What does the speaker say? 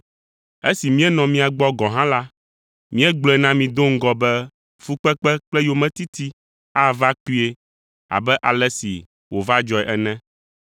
Esi míenɔ mia gbɔ gɔ̃ hã la, míegblɔe na mi do ŋgɔ be fukpekpe kple yometiti ava kpuie abe ale si wòva dzɔe ene.